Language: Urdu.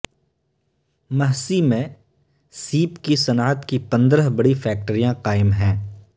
مہسی میں سیپ کی صنعت کی پندرہ بڑی فیکٹریاں قائم ہیں